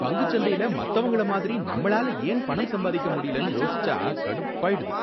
பங்குச்சந்தையில மத்தவங்களமாதிரி நம்மளால ஏன் பணம் சம்பாதிக்க முடியலன்னு யோசிச்சா கடுப்பாயிடுது.